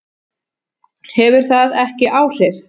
Hefur það ekki áhrif?